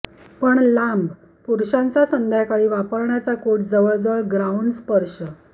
पण लांब पुरुषांचा संध्याकाळी वापरण्याचा कोट जवळजवळ ग्राउंड स्पर्श